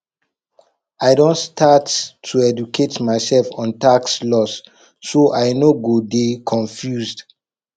i don start to educate myself on tax laws so i no go dey confused